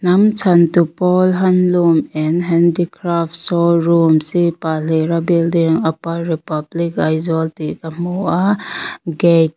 hnam chhantu pawl handloom and handicrafts show room c pahlira building upper republic aizawl tih ka hmu a gate --